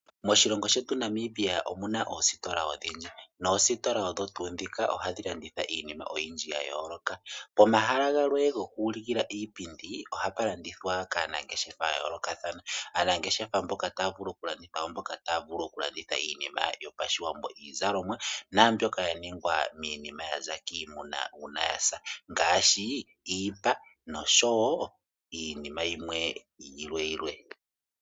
Moshilongo shetu Namibia omuna oositola odhindji noositola odho tuu dhika ohadhi landitha iinima oyindji ya yooloka. Pomahala galwe goku ulikila iipindi ,ohapa landithwa kaanangeshefa ya yoolokathana. Aanangeshefa mboka taya vulu oku landitha oomboka taya vulu oku landitha iinima yopashiwambo , iizalomwa naambyoka ya ningwa niinima ya za kiimuna uuna ya sa ngaashi iipa no sho woo iinima yilwe.